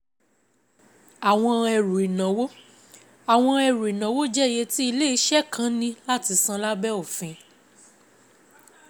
Àwọn ẹrù ìnáwó: Àwọn ẹrù ìnáwó jẹ́ iye tí ilé-iṣẹ́ kan ní láti san lábẹ́ òfin.